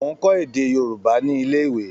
Mò ń kọ́ èdè Yorùbá ní ilé-ìwé.